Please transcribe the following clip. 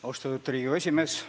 Austatud Riigikogu esimees!